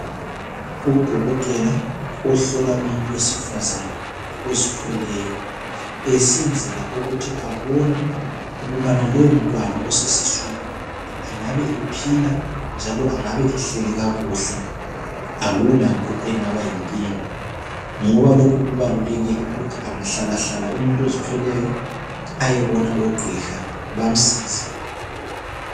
Udokotela ohlola umuntu wesifazane ozithweleyo esenzela ukuthi abone ukubana lowomntwana osesiswini engabe ephila njalo angabe ehleli kakuhle, akulanto engaba yinkinga. Ngoba lokhu kubalulekile ukuthi angahlalahlala umuntu ozithweleyo, ayebona ogqiha, bamsize.